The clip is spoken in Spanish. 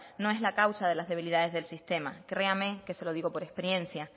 no es la causa de las debilidades del sistema créame que se lo digo por experiencia